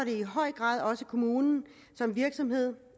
i høj grad også kommunen som virksomhed